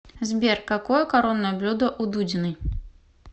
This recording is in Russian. сбер какое коронное блюдо у дудиной